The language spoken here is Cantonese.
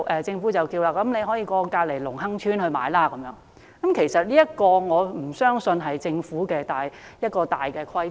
政府說他們可以到鄰近的隆亨邨購物，但我不相信這是政府的大原則。